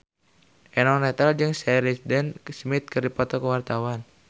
Eno Netral jeung Sheridan Smith keur dipoto ku wartawan